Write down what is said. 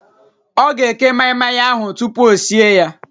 Ọ ga-eke maị-maị ahụ tupu o sie ya